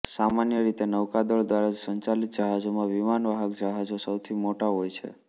સામાન્ય રીતે નૌકાદળો દ્વારા સંચાલિત જહાજોમાં વિમાનવાહક જહાજો સૌથી મોટા હોય છે